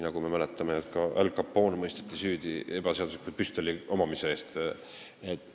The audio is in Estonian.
Nagu me mäletame, ka Al Capone mõisteti süüdi ebaseadusliku püstoli omamise eest.